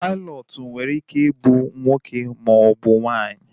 Pailọtụ nwere ike ị bụ nwoke ma ọ bụ nwaanyị